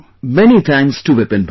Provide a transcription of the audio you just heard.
Many thanks to Vipinbhai